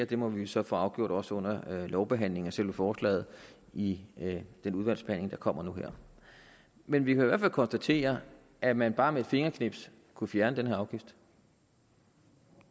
det må vi så få afgjort under lovbehandlingen af selve forslaget i den udvalgsbehandling der kommer nu her men vi kan i hvert fald konstatere at man bare med et fingerknips kunne fjerne den her afgift